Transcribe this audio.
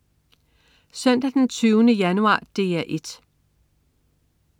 Søndag den 20. januar - DR 1: